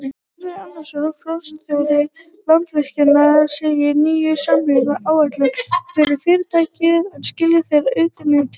Hörður Arnarson, forstjóri Landsvirkjunar segir nýju samningana áhættuminni fyrir fyrirtækið en skila þeir auknum tekjum?